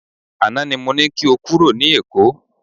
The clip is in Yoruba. Àná ni mo ní kí o kúrò ní Èkó.